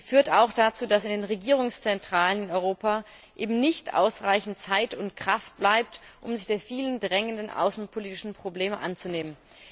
Sie führt auch dazu, dass in den Regierungszentralen in Europa eben nicht ausreichend Zeit und Kraft bleibt, um sich der vielen drängenden außenpolitischen Probleme anzunehmen.